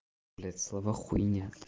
блядь слова хуйня